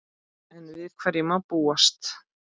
Enn við hverju má búast?